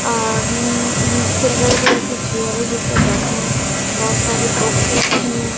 अ ब अम्म silver colour की चेयर है जिस पे बैठे हैं बहोत सारी बुक्स रखी है।